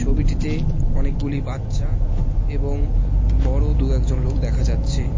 ছবিটিতে অনেকগুলি বাচ্চা এবং বড়ো দু একজন লোক দেখা যাচ্ছে।